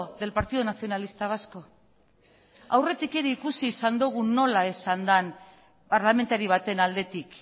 del partido nacionalista vasco aurretik ere ikusi izan dugu nola esan den parlamentari baten aldetik